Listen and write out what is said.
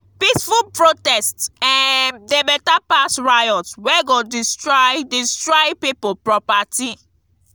peaceful protest um dey beta pass riot wey go destroy destroy pipo property.